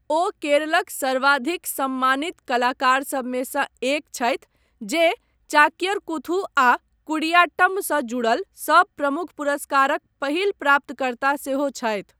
ओ केरलक सर्वाधिक सम्मानित कलाकार सभमेसँ एक छथि जे चाक्यर कूथू आ कुडियाट्टम सँ जुड़ल सभ प्रमुख पुरस्कारक पहिल प्राप्तकर्ता सेहो छथि।